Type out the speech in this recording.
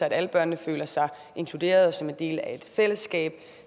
at alle børnene føler sig inkluderet og som en del af et fællesskab